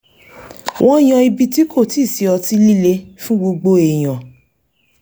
wọ́n yan ibi tí kò ti sí ọtí líle fún gbogbo èèyàn